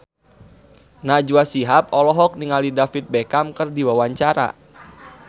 Najwa Shihab olohok ningali David Beckham keur diwawancara